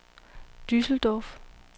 Düsseldorf